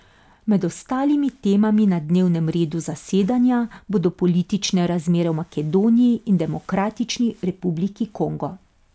Med ostalimi temami na dnevnem redu zasedanja bodo politične razmere v Makedoniji in Demokratični republiki Kongo.